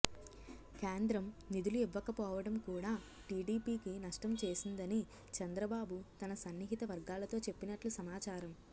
కేంద్రం నిధులు ఇవ్వకపోవడం కూడా టీడీపీకి నష్టం చేసిందని చంద్రబాబు తన సన్నిహిత వర్గాలతో చెప్పినట్లు సమాచారం